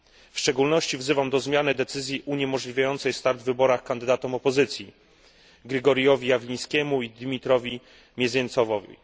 W szczególności wzywam do zmiany decyzji uniemożliwiającej start w wyborach kandydatom opozycji Grigorijowi Jawlińskiemu i Dmitrijowi Mieziencewowi.